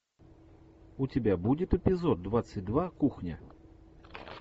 у тебя будет эпизод двадцать два кухня